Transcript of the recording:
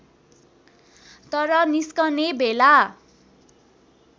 तर निस्कने बेला